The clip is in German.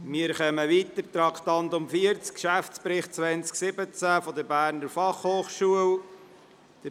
Wir kommen zum Traktandum 40, dem Geschäftsbericht 2017 der Berner Fachhochschule (BFH).